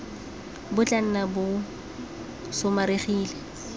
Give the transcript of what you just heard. bo tla nna bo somarelegile